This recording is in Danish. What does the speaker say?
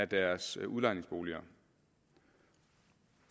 deres udlejningsboliger